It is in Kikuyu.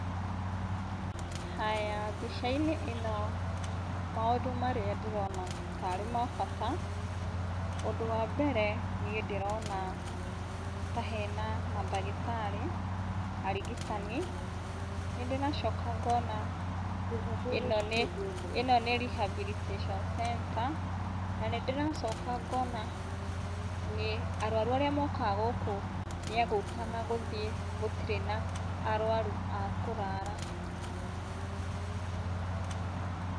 Haya, mbica-inĩ ĩno maũndũ marĩa ndĩrona tarĩ ma bata, ũndũ wa mbere niĩ ndĩrona ta hena mandagĩtarĩ, arigitani, nĩ ndĩracoka ngona ĩno nĩ, ĩno nĩ rehabilitation centre na nĩ ndĩracoka ngona nĩ, arwaru arĩa mokaga gũkũ nĩ agũka na gũthiĩ gũtirĩ na arwaru a kũrara.